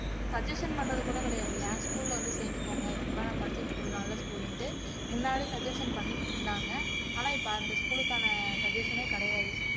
suggestion பண்றது கூட கிடையாது என் school ல வந்து சேர்ந்துக்கோங்க இதுக்கு முன்னால நான் படிச்ச school நல்ல school ன்னுட்டு முன்னாடி suggestion பண்ணிக்கிட்டு இருந்தாங்க ஆனா இப்ப அந்த school க்கான suggestion ஏ கிடையாது